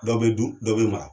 Dɔ bɛ dun dɔ bɛ mara